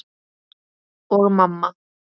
Og mamma.